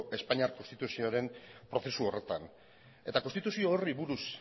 espainiar konstituzioaren prozesu horretan eta konstituzio horri buruz